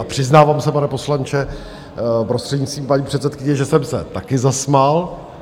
A přiznávám se, pane poslanče, prostřednictvím paní předsedkyně, že jsem se taky zasmál.